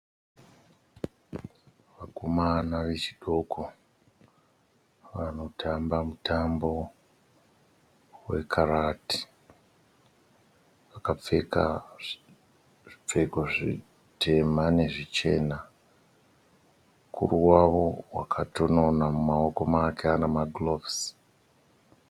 Vakomana vechidoko vanotamba mutambo wekarati. Vakapfeka zvipfeko zvitema nezvichena. Mukuru wavo wakatonona mumawoko make ane magirovhosi.